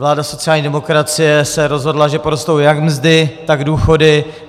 Vláda sociální demokracie se rozhodla, že porostou jak mzdy, tak důchody.